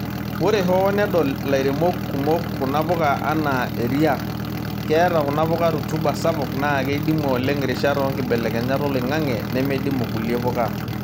Ore hoo nedol lairemok kumok kuna puka anaa eriaa, keeta kuna puka rutuba sapuk naa keidimu oleng' rishat oonkibelekenyat oloing'ang'e neimidimu kulie puka.